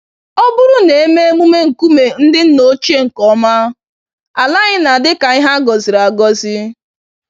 Ọbụrụ na eme emume nkume ndị nna ochie nke ọma, ala anyị na-adị ka ihe agọziri-agọzi